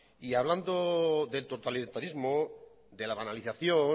y hablando del totalitarismo de la banalización